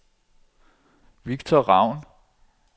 Victor Ravn